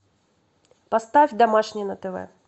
поставь домашний на тв